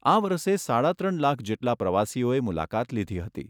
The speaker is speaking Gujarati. આ વરસે સાડા ત્રણ લાખ જેટલા પ્રવાસીઓએ મુલાકાત લીધી હતી.